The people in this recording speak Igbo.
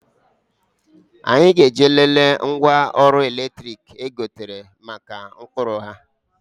Anyị ga-eje lelee ngwa ọrụ eletrik o gotere mara ụkpụrụ ha.